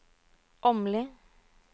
Åmli